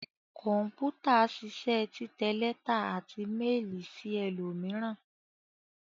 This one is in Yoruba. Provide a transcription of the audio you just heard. Kọ̀m̀pútà ṣiṣẹ́ títẹ lẹ́tà àti méélì sí ẹlòmíràn.